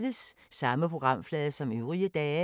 Samme programflade som øvrige dage